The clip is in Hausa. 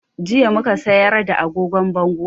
Jiya mu ka sayar da agogon bangonmu